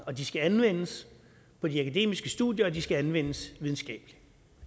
og de skal anvendes på de akademiske studier og de skal anvendes videnskabeligt